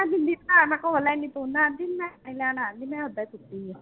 ਦਿਖਾਇਆ ਮੈਂ ਕਿਹਾ ਪੂਨਾ ਆਂਟੀ ਮੈਂ ਮੈਂ ਓਦਾਂ ਪੁੱਟੀ ਆ